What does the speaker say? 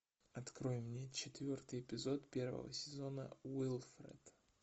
открой мне четвертый эпизод первого сезона уилфред